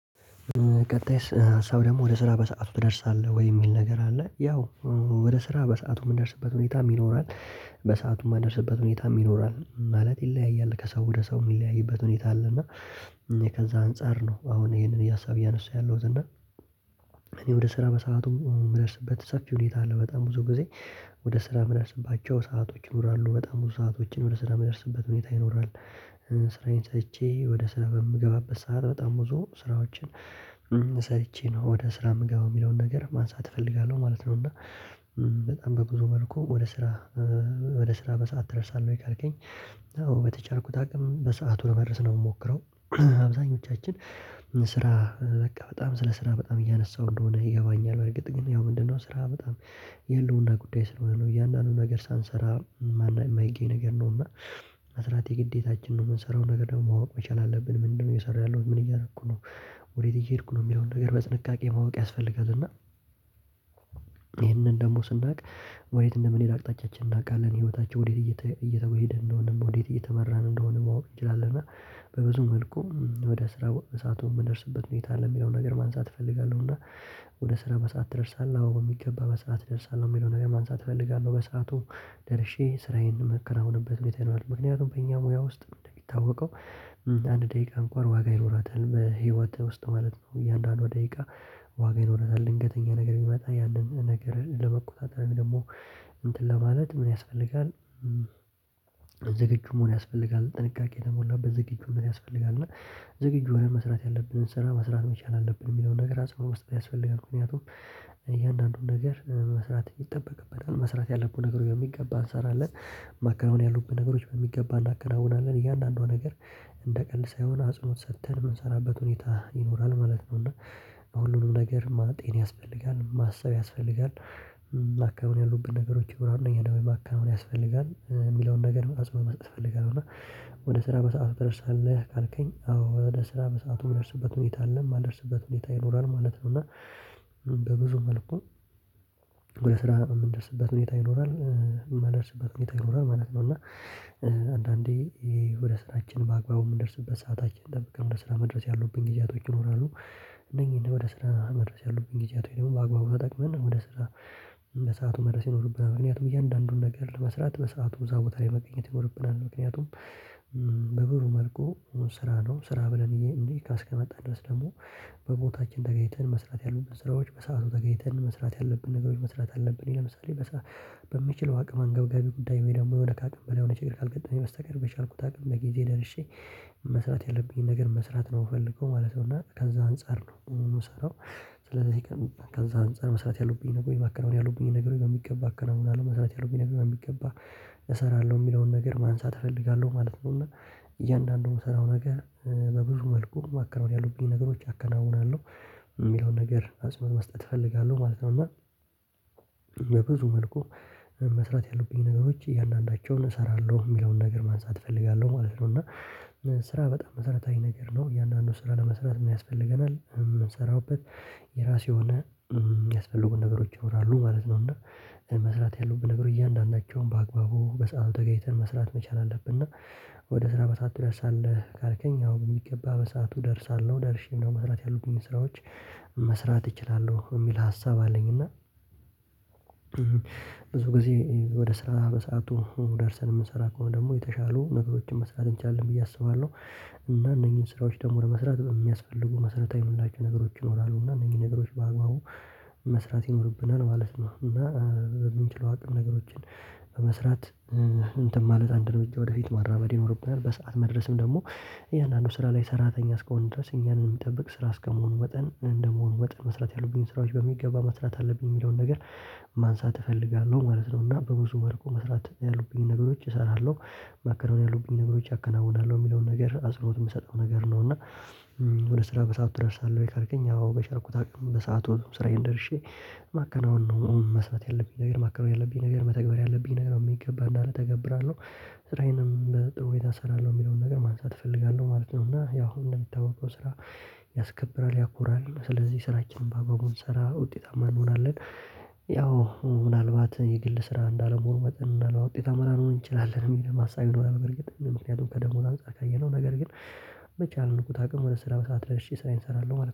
ቀጣይ ሰው ደሞ ወደ ስራ በሰአቱ ትደርሳለህ ወይ የሚል ነገር አለ ያው ወደ ስራ በሰአቱ ምንደርስበት ሁኔታም ይኖራል። በሰአቱ ማንደርስበት ሁኔታም ይኖራል ማለት ይለያያል ከሰው ወደ ሰው ሚለያይበት ሁኔታ አለ። እና ከዛ አንፃር ነው አሁን ይሄንን የሀሳብ እያነሱ ያለውት እና ወደ ስራ በሰአቱ ምደርስበት ሰፊ ሁኔታ አለ በጣም ብዙ ጊዜ። ወደ ስራ ምደርስባቸው ሰአቶች ይኖራሉ በጣም ብዙ ሰአቶችን ወደ ስራ ምደርስበት ሁኔታ ይኖራል። ስራዬን ሰርቼ ወደ ስራ በምገባበት ሰዓት በጣም ብዙ ስራዎችን ሰርቼ ነው ወደ ስራ ምገባው ሚለውን ነገር ማንሳት እፈልጋለው ማለት ነው። እና በጣም በብዙ መልኩ ወደ ስራ ወደ ስራ በሰአት ትደርሳለህ ወይ ካልከኝ? በተቻልኩት አቅም በሰአቱ ለመድረስ ነው ምሞክረው። አብዛኞቻችን ስራ በቃ በጣም ስለ ስራ በጣም እያነሳው እንደሆነ ይገባኛል። በርግጥ ግን ያው ምንድነው ስራ በጣም የህልውና ጉዳይ ስለሆነ ነው እያንዳንዱን ነገር ሳንሰራ። ማይገኝ ነገር ነው። እና መስራት የግዴታችን ነው ምንሰራውን ነገር ደሞ ማወቅ መቻል አለብን። ምንድነው እየሰራው ያለውት ምን እያረኩ ነው? ወዴት እየሄድኩ ነው ሚለውን ነገር በጥንቃቄ ማወቅ ያስፈልጋል። እና ይሄንን ደሞ ስናቅ ወዴት እንደምኔድ አቅጣጫችን እናቃለን ህይወታችን ወዴት እየተወሄደ እንደሆነም ወዴት እየተመራን እንደሆነ ማወቅ እንችላለን። እና በብዙ መልኩም ወደ ስራ በሳቱ ምንደርስበት ሁኔታ አለ ሚለውን ነገር ማንሳት እፈልጋለው። እና ወደ ስራ በሰአት ትደርሳለ? አው በሚገባ በሰአት እደርሳለው ሚለውን ነገር ማንሳት እፈልጋለው። በሰአቱ ደርሼ ስራዬን ማከናውንበት ሁኔታ ይኖራል። ምክንያቱም በእኛ ሙያ ውስጥ እንደሚታወቀው አንድ ደቂቃ እንኳን ዋጋ ይኖራታል በህይወትህ ውስጥ ማለት ነው። እያንዳንዷ ደቂቃ ዋጋ ይኖራታል። ድንገተኛ ነገር ቢመጣ ያንን ነገርን ለመቆጣጠር ወይም ደሞ እንትን ለማለት ምን ያስፈልጋል? ዝግጁ መሆን ያስፈልጋል ጥንቃቄ የተሞላበት ዝግጁነት ያስፈልጋል። እና ዝግጁ ሆነን መስራት ያለብንን ስራ መስራት መቻል አለብን ሚለውን ነገር አጽንኦ መስጠት ያስፈልጋል። ምክንያቱም እያንዳንዱን ነገር መስራት ይጠበቅበታል መስራት ያለብን ነገር በሚገባ እንሰራለን። ማከናወን ያሉብን ነገሮች በሚገባ እናከናውናለን። እያንዳንዷ ነገር እንደ ቀልድ ሳይሆን አጽንኦት ሰተን ምንሰራበት ሁኔታ ይኖራል ማለት ነው። እና ሁሉንም ነገር ማጤን ያስፈልጋል ማሰብ ያስፈልጋል። ማከናወን ያሉብን ነገሮች ይኖራሉ እነኛን ደሞ ማከናወን ያስፈልጋል። ሚለውን ነገር አጵንኦ መስጠት እፈልጋለው። እና ወደ ስራ በሰአቱ ትደርሳለህ? ካልከኝ አዎ ወደ ስራ በሰአቱ ምደርስበት ሁኔታ አለ ማልደርስበት ሁኔታ ይኖራል ማለት ነው። እና በብዙ መልኩ ወደ ስራ ምንደርስበት ሁኔታ ይኖራል። ማንደርስበት ሁኔታ ይኖራል ማለት ነው። እና አንዳንዴ ወደ ስራችን በአግባቡ ምንደርስበት ሰዓታችን ጠብቀን ወደ ስራ መድረስ ያሉብኝ ጊዜያቶች ይኖራሉ። እነኚን ወደ ስራ መድረስ ያሉብኝ ጊዜያቶች ደሞ በአግባቡ ተጠቅመን ወደ ስራ በሰአቱ መድረስ ይኖርብናል። ምክንያቱም እያንዳንዱን ነገር መስራት በሰአቱ እዛ ቦታ ላይ መገኘት ይኖርብናል። ምክንያቱም በብዙ መልኩ ስራ ነው ስራ ብለን እንዲ እስከመጣን ድረስ ደሞ በቦታችን ተገኝተን መስራት ያሉብን ስራዎች በሰአቱ ተገኝተን መስራት ያለብን ነገሮች መስራት አለብን። ለምሳሌ በምችል አቅም አንገብጋቢ ጉዳይ ወይ ደሞ የሆነ ካቅም በላይ የሆነ ችግር ካልገጠመኝ በስተቀር በቻልኩት አቅም በጊዜ ደርሼ። መስራት ያለብኝን ነገር መስራት ነው ምፈልገው ማለት ነው። እና ከዛ አንፃር ነው ምሰራው። ስለዚ ግን ከዛ አንፃር መስራት ያሉብኝ ነገር ወይ ማከናወን ያሉብኝ ነገሮች በሚገባ አከናውናለው መስራት ያለቡኝን ነገር በሚገባ እሰራለው ሚለውን ነገር ማንሳት እፈልጋለው ማለት ነው። እና እያንዳንዱ ምሰራው ነገር በብዙ መልኩ ማከናወን ያለቡኝ ነገሮች አከናውናለው። ሚለውን ነገር አጽንኦት መስጠት እፈልጋለው ማለት ነው። እና በብዙ መልኩ መስራት ያሉብኝ ነገሮች እያንዳንዳቸውን እሰራለው ሚለውን ነገር ማንሳት እፈልጋለው ማለት ነው። እና ስራ በጣም መሰረታዊ ነገር ነው። እያንዳንዱን ስራ ለመስራት ምን ያስፈልገናል ምንሰራውበት? የራሱ የሆነ ሚያስፈልጉን ነገሮች ይኖራሉ ማለት ነው። እና መስራት ያለቡን ነገሮች እያንዳንዳቸውን በአግባቡ በሰአቱ ተገኝተን መስራት መቻል አለብን። እና ወደ ስራ በሰዓ ትደርሳለህ? ካልከኝ አዎ በሚገባ በሰአቱ እደርሳለው ደርሼም ደሞ መስራት ያሉብኝን ስራዎች መስራት እችላለው ሚል ሀሳብ አለኝ። እና ብዙ ጊዜ ወደ ስራ በሰአቱ ደርሰን ምንሰራ ከሆነ ደሞ የተሻሉ ነገሮችን መስራት እንችላለን ብዬ አስባለው። እና እነኚን ስራዎች ደሞ ለመስራት ሚያስፈልጉ መሰረታዊ ምንላቸው ነገሮች ይኖራሉ። እና እነኚ ነገሮች በአግባቡ መስራት ይኖርብናል ማለት ነው። እና በምንችለው አቅም ነገሮችን በመስራት እንትን ማለት አንድ እርምጃ ወደፊት ማራበድ ይኖርብናል። በሰአት መድረስም ደሞ እያንዳንዱ ስራ ላይ ሰራተኛ እስከሆንን ድረስ እኛን ሚጠብቅ ስራ እስከመሆኑ ወጠን እንደመሆኑ ወጠን መስራት ያሉብኝን ስራዎች በሚገባ መስራት አለብኝ ሚለውን ነገር ማንሳት እፈልጋለው። ማለት እና በብዙ መልኩ መስራት ያሉብኝን ነገሮች እሰራለው። ማከናወን ያሉብኝን ነገሮች አከናውናለው ሚለውን ነገር አጽንኦት ምሰጠው ነገር ነው። እና ወደ ስራ በሰአቱ ትደርሳለህ? ወይ ካልከኝ? አዎ በቻልኩት አቅም በሰአቱ ስራዬን ደርሼ ማከናወን ነው መስራት ያለብኝ ነገር ማከናወን ያለብኝ ነገር መተግበር ያለብኝ ነገር በሚገባ እንዳለ ተገብራለው። ስራዬንም በጥሩ ሁኔታ እሰራለው ሚለውን ነገር ማንሳት እፈልጋለው ማለት ነው። እና ያው እንደሚታወቀው ስራ ያስከብራል ያኮራል ስለዚ ስራችንን በአግባቡ ስንሰራ ውጤታማ እንሆናለን። ያው ምናልባት የግል ስራ እንዳለመሆኑ መጠን ምናልባት ውጤታማ ላንሆን እንችላለን ሚልም ሀሳብ ይኖራል። በርግጥ ምክንያቱም ከደሞዝ አንፃር ካየነው ነገር ግን በቻልኩት አቅም ወደ ስራ በሰአት ደርሼ ስራዬን እሰራለው ማለት